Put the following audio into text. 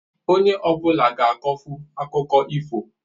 Onye ọ bụla ga-akọfu akụkọ ifo